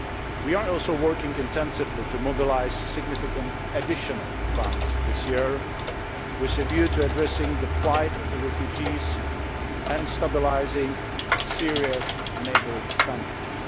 We are also working intensively to mobilise significant additional funds this year with a view to addressing the plight of the refugees and stabilising Syria's neighbouring countries.